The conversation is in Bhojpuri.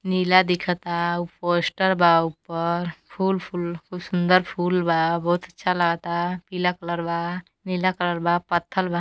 नीला दिखता पोस्टर बा ऊपर फूल फूल खूब सुन्दर फूल बा। बहोत अच्छा लागता पीला कलर बा नीला कलर बा पत्थल बा।